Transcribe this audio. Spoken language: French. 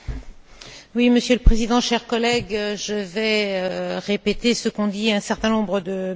Monsieur le Président, chers collègues, je vais répéter ce qu'ont dit un certain nombre de mes collègues.